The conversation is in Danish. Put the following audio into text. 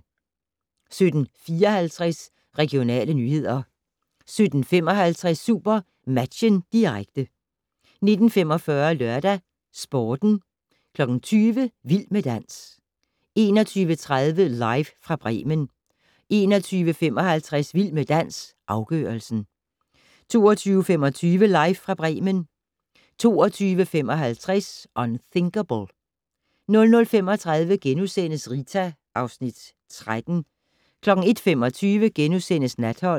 17:54: Regionale nyheder 17:55: SuperMatchen, direkte 19:45: LørdagsSporten 20:00: Vild med dans 21:30: Live fra Bremen 21:55: Vild med dans - afgørelsen 22:25: Live fra Bremen 22:55: Unthinkable 00:35: Rita (Afs. 13)* 01:25: Natholdet *